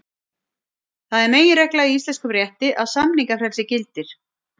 Það er meginregla í íslenskum rétti að samningafrelsi gildir.